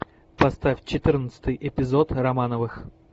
поставь четырнадцатый эпизод романовых